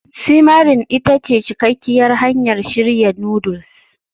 simmering ita ce cikakkiyar hanyar shirya noodles